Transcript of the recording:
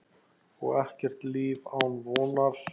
Og ekkert líf án vonar.